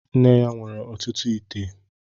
Nne ya nwere ọtụtụ ite m